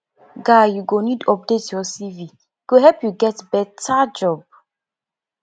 guy you go need update your cv e go help you get beta job